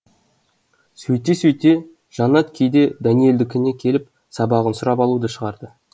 сөйте сөйте жаннат кейде дәниелдікіне келіп сабағын сұрап алуды шығарды